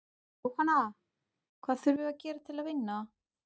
Jóhanna: Hvað þurfum við að gera til að vinna?